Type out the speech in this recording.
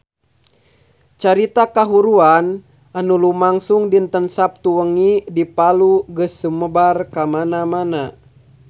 Carita kahuruan anu lumangsung dinten Saptu wengi di Palu geus sumebar kamana-mana